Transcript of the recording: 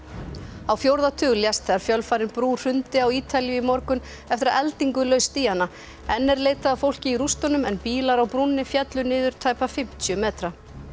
á fjórða tug lést þegar fjölfarin brú hrundi á Ítalíu í morgun eftir að eldingu laust í hana enn er leitað að fólki í rústunum en bílar á brúnni féllu niður tæpa fimmtíu metra